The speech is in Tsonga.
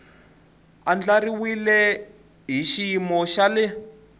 andlariwile hi xiyimo xa le